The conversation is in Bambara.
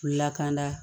Lakanda